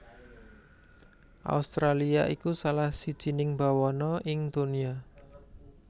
Australia iku salah sijining bawana ing donya